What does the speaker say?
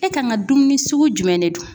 E kan ŋa dumuni sugu jumɛn de dun?